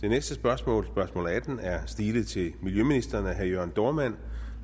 det næste spørgsmål spørgsmål atten er stilet til miljøministeren af herre jørn dohrmann